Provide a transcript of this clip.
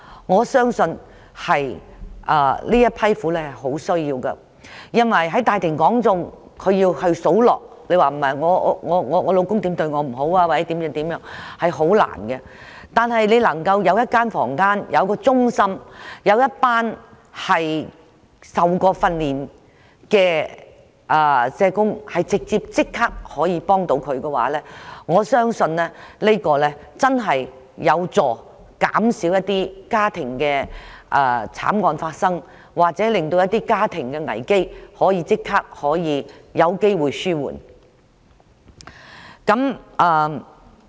我相信她們極需要這種支援，因為要她們在大庭廣眾數落丈夫如何待她不好是很困難的事，如果能夠有一個房間或中心，以及一群曾接受訓練的社工，可立刻提供協助的話，我相信會真正有助減少家庭慘案發生，或令家庭危機有機會獲即時紓緩。